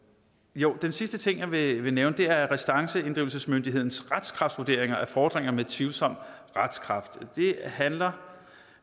jo den sidste ting jeg vil nævne er restanceinddrivelsesmyndighedens retskraftvurderinger af fordringer med tvivlsom retskraft det handler